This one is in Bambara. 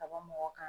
Ka bɔ mɔgɔ kan